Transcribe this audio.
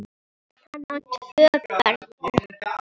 Hann á tvö börn.